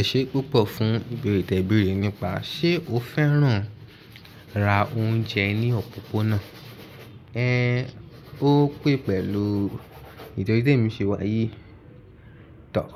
Ẹ̀ṣẹ́ púpọ̀ fún ìbèrí ìtẹ̀bẹ̀rí nípa ṣé o fẹ́ràn ra oúnjẹ ní òpópónà. Ẹ, ó pé pẹ̀lú ìtọ́jú tí èmi ṣe wáyé. Yii